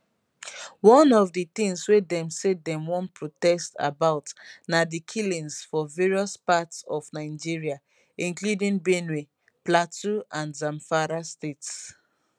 one of di tins wey dem say dem wan protest about na di killings for various parts of nigeria including benue plateau and zamfara states